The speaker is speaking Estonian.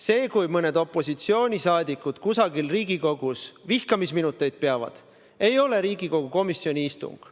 See, kui mõned opositsioonisaadikud kusagil Riigikogus vihkamisminuteid peavad, ei ole Riigikogu komisjoni istung.